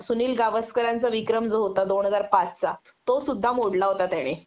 सुनील गावस्करांचा विक्रम जो होता दोन हजार पाचचा तो सुद्धा मोडला होता त्याने